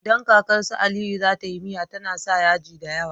Idan kakar su aliyu zata yi miya tAna sa yaji dayawa